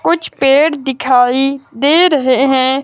कुछ पेड़ दिखाई दे रहे हैं।